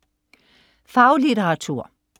Faglitteratur